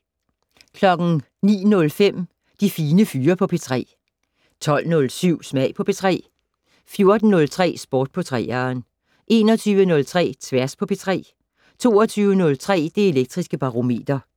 09:05: De Fine Fyre på P3 12:07: Smag på P3 14:03: Sport på 3'eren 21:03: Tværs på P3 22:03: Det Elektriske Barometer